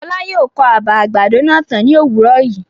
Fọlá yóò kọ́ àbà àgbàdo náà tán ní òwúrọ̀ yìí.